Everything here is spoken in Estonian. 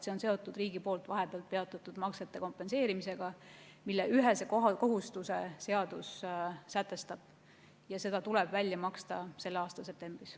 See on seotud riigi poolt vahepeal peatatud maksete kompenseerimisega, mille täitmise kohustuse seadus üheselt sätestab, ja see raha tuleb välja maksta selle aasta septembris.